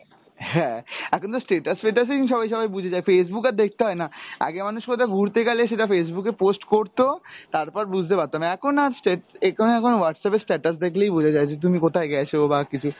হ্যাঁ, এখন তো status ফেটাস এই সবাই সবাই বুঝে যায়, Facebook আর দেখতে হয়না। আগে মানুষ কোথাও ঘুরতে গেলে সেটা Facebook এ post করতো তারপর বুঝতে পারতাম, এখন আর স্টেট~ What'sapp এ status দেখলেই বোঝা যায় যে তুমি কোথায় গেছো বা কিছু,